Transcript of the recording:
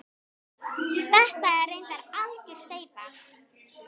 Þetta er reyndar algjör steypa.